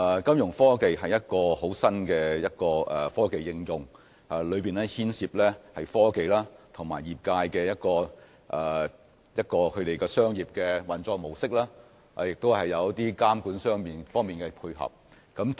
金融科技是一項新穎的科技應用，當中牽涉科技與業界的商業運作模式，以及在監管方面的配合。